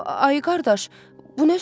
Ay qardaş, bu nə sözdür?